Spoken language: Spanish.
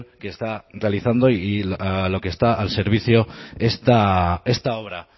que está realizando y de lo que está al servicio esta obra